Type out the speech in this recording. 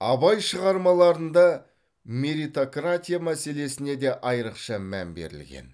абай шығармаларында меритократия мәселесіне де айрықша мән берілген